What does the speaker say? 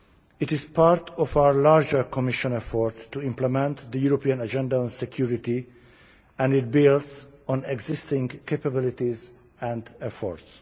It is part of our larger Commission effort to implement the European agenda on security and it builds on existing capabilities and efforts.